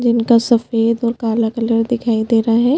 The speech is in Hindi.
जिनका सफ़ेद और काला कलर दिखाई दे रहा है।